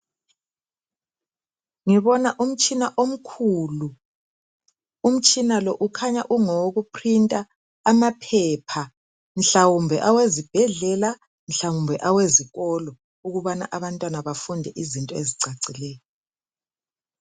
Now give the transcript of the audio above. Ngibona umtshina omkhulu, umtshina lo ukhanya ungowoku printer amaphepha. mhlawumbe awezibhedlela mhlawumbe awezikolo ukubana abantwana bafunde izinto ezicacileyo.